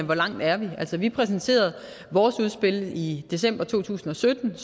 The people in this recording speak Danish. hvor langt er vi vi præsenterede vores udspil er i december to tusind og sytten